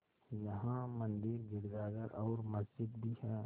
यहाँ मंदिर गिरजाघर और मस्जिद भी हैं